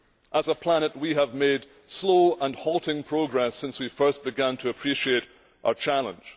As a planet we have made slow and halting progress since we first began to appreciate our challenge.